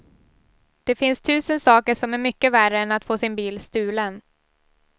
Det finns tusen saker som är mycket värre än att få sin bil stulen.